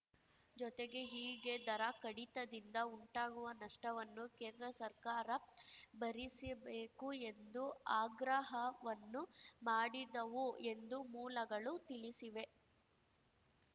ಜೊತೆಗೆ ಹೀಗೆ ದರ ಕಡಿತದಿಂದ ಉಂಟಾಗುವ ನಷ್ಟವನ್ನು ಕೇಂದ್ರ ಸರ್ಕಾರ ಭರಿಸಬೇಕು ಎಂದು ಆಗ್ರಹವನ್ನೂ ಮಾಡಿದವು ಎಂದು ಮೂಲಗಳು ತಿಳಿಸಿವೆ